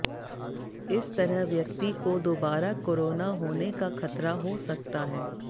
इस तरह व्यक्ति को दोबारा कोरोना होने का खतरा हो सकता है